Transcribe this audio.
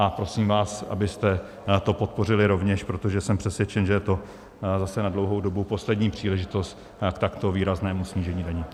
A prosím vás, abyste to podpořili rovněž, protože jsem přesvědčen, že je to zase na dlouhou dobu poslední příležitost k takto výraznému snížení daní.